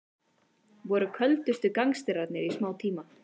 Voru köldustu gangsterarnir í smá tíma